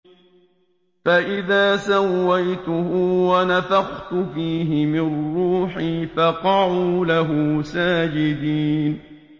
فَإِذَا سَوَّيْتُهُ وَنَفَخْتُ فِيهِ مِن رُّوحِي فَقَعُوا لَهُ سَاجِدِينَ